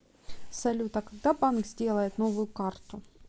салют а когда банк сделает новую карту